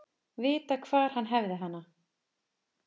Vita hvar hann hefði hana.